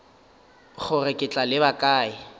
gore ke tla leba kae